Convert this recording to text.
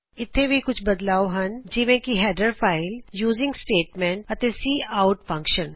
ਇਥੇ ਵੀ ਕੁਝ ਬਦਲਾਵ ਹਨ ਜਿਵੇ ਕਿ ਹੈਡਰ ਫਾਇਲ ਯੂਜ਼ਿਗ ਸਟੇਟਮੈਂਟ ਅਤੇ ਸੀ ਆਓਟ ਫਂਕਸ਼ਨ